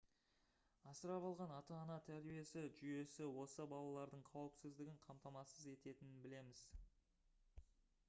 асырап алған ата-ана тәрбиесі жүйесі осы балалардың қауіпсіздігін қамтамасыз ететінін білеміз